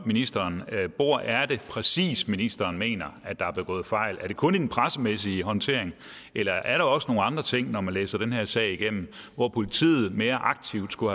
ministeren hvor er det præcis ministeren mener at der er begået fejl er det kun i den pressemæssige håndtering eller er der også nogen andre ting når man læser den her sag igennem hvor politiet mere aktivt skulle